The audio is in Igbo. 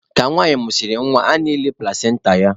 Ka nwanyị mụsịrị nwa, a na-eli plasenta ya.